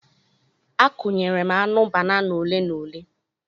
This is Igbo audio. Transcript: Akụnyere m aṅụ banana ole na ole.